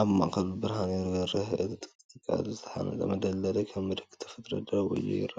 ኣብ ማእከሉ ብርሃን ይበርህ፡ ኣብ ጥቓኡ ዝተሃንጸ መጽለሊ ከም ምልክት ተፈጥሮ ደው ኢሊ ይረአ ኣሎ።